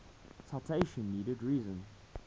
citation needed reason